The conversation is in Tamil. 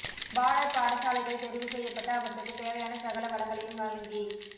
பாலர் பாடசாலைகள் தெரிவு செய்யப்பட்டு அவற்றுக்கு தேவையான சகல வளங்களையும் வழங்கி